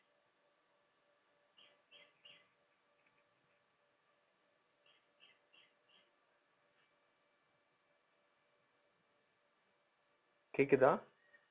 கேக்குதா